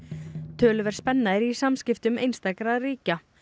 töluverð spenna er í samskiptum einstakra ríkja